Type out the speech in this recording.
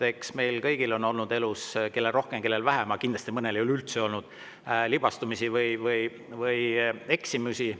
Eks meil kõigil on olnud elus – kellel rohkem, kellel vähem ja mõnel üldse ei ole – libastumisi või eksimusi.